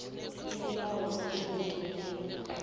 isibawo singenziwa nayikuthi